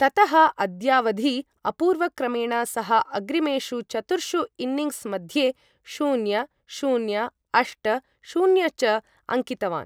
ततः अद्यावधि अपूर्वक्रमेण सः अग्रिमेषु चतुर्षु इन्निङ्ग्स् मध्ये शून्य, शून्य, अष्ट, शून्यच अङ्कितवान्।